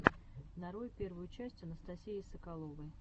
нарой первую часть анастасии соколовой